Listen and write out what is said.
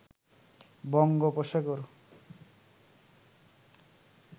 বঙ্গোপসাগর